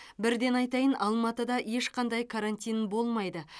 бірден айтайын алматыда ешқандай карантин болмайды